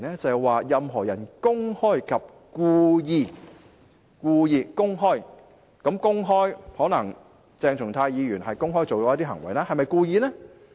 是任何人公開及故意——可能鄭松泰議員公開地做了一些行為，但是否故意呢？